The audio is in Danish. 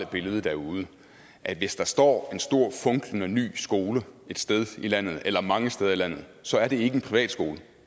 billede derude at hvis der står en stor funklende ny skole et sted i landet eller mange steder i landet så er det ikke en privatskole